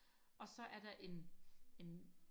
og så er der en en